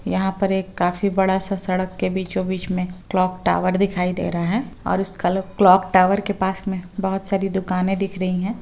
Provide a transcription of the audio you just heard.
यहां पर एक काफी बड़ा-सा सड़क के बीचों-बीच मे क्लॉक टॉवर दिखाई दे रहा है और उस कल क्लॉक टॉवर के पास में बोहत सारी दुकाने दिख रही है।